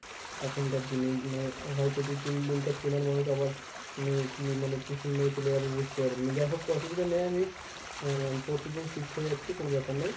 এখনকার দিনে মানে হয়ত তুই চেনার মানুষ আবার মানে কী মানে পেছন মেরে চলে যাবে বুঝতেও পারবি না যাইহোক অসুবিধা নেই আমি আহ পরশু দিন shift হয়ে যাচ্ছি কোনো ব্যপার নয়।